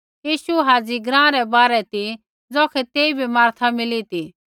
यीशु हाज़ी ग्राँ रै बाहरै ती ज़ौखै तेइबै मार्था मिली ती